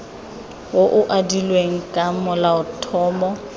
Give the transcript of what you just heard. o o adilweng ka molaotlhomo